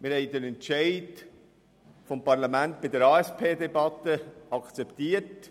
Wir haben den Entscheid des Parlaments bei der ASP-Debatte akzeptiert.